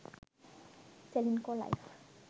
ceylinco life